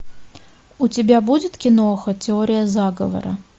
у тебя будет кино теория заговора